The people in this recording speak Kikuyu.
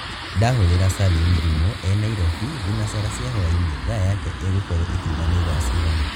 ndahurīra salim thimū e nairobi thinacara cia hwainī thaa yake īgukoruo īkiuga nī thaa cigana